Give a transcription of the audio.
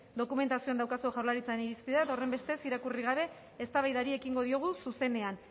dokumentazioan daukazue jaurlaritzaren irizpidea horrenbestez irakurri gabe eztabaidari ekingo diogu zuzenean